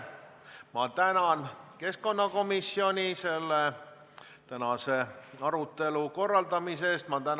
Ma tänan keskkonnakomisjoni tänase arutelu korraldamise eest!